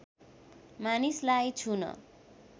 मानिसलाई छुन